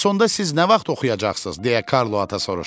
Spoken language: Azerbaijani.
bəs onda siz nə vaxt oxuyacaqsınız, deyə Karlo ata soruşdu.